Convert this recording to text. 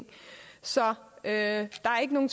så er at